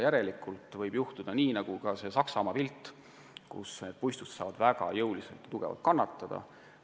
Järelikult võib juhtuda nii, nagu oli näha sellel Saksamaa pildil, et puistud saavad väga tugevasti kannatada.